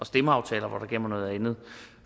stemmeaftaler hvor der gælder noget andet